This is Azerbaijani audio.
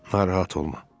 Narahat olma.